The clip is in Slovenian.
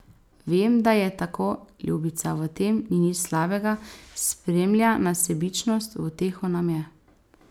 Vem, da je tako, ljubica, v tem ni nič slabega, spremlja nas sebičnost, v uteho nam je.